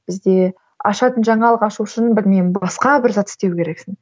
бізде ашатын жаңалық ашу үшін білмеймін басқа бір зат істеу керексің